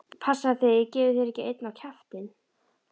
Passaðu þig að ég gefi þér ekki einn á kjaftinn!